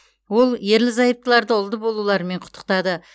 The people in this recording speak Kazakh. ол ерлі зайыптыларды ұлды болуларымен құттықтады